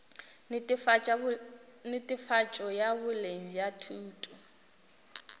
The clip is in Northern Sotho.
netefatšo ya boleng bja thuto